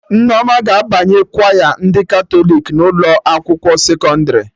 Nneoma ga-abanye kwaya ndị Katọlik na ụlọ akwụkwọ sekọndrị